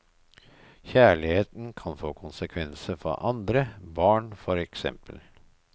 Kjærligheten kan få konsekvenser for andre, barn for eksempel.